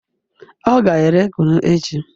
O ga ere kunu echi